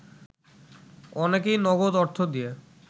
অনেকেই নগদ অর্থ দিয়ে